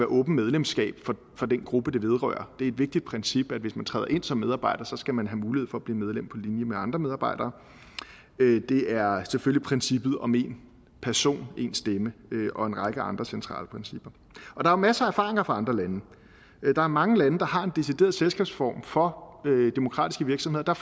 åbent medlemskab for den gruppe det vedrører det er et vigtigt princip at hvis man træder ind som medarbejder skal man have mulighed for at blive medlem på linje med andre medarbejdere det er selvfølgelig princippet om en person en stemme og en række andre centrale principper der er masser af erfaringer fra andre lande der er mange lande der har en decideret selskabsform for demokratiske virksomheder der